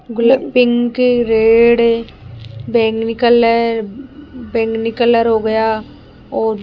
pink red बैगनी colour बैगनी colour हो गया और --